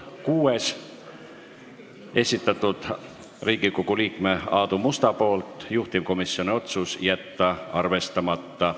Kuuenda on esitanud Riigikogu liige Aadu Must, juhtivkomisjoni otsus: jätta arvestamata.